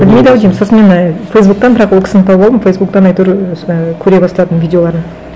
білмейді ау деймін сосын мен ы фейсбуктен бірақ ол кісіні тауып алдым фейсбуктен әйтеуір сол і көре бастадым видеоларын